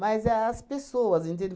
é as pessoas, entende?